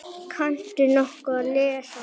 Kanntu nokkuð að lesa?